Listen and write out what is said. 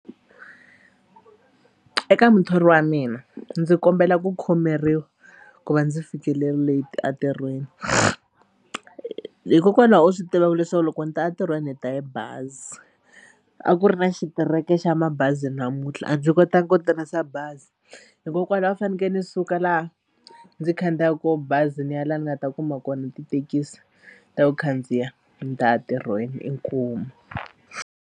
Eka muthori wa mina ndzi kombela ku khomeriwa ku va ndzi fikile late entirhweni hikokwalaho u swi tivaku leswaku loko ni ta entirhweni ni ta hi bazi a ku ri na xitereko xa mabazi namuntlha a ndzi kotanga ku tirhisa bazi hikokwalaho a fanekele ni suka laha ndzi khandziyaka kaho bazi ni ya laha ni nga ta kuma kona tithekisi ta ku khandziya ni ta ya ntirhweni inkomu.